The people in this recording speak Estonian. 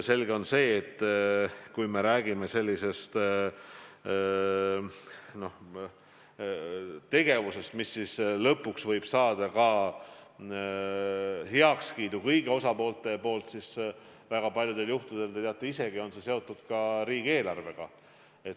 Selge see, et kui me räägime meetmetest, mis lõpuks võivad saada heakskiidu kõigilt osapooltelt, siis väga paljudel juhtudel, te teate seda isegi, on see seotud riigieelarvega.